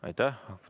Aitäh!